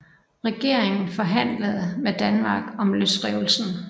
Regeringen forhandlede med Danmark om løsrivelsen